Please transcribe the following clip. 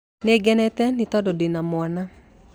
Nĩngenete nĩ tondũ ndĩna mwana.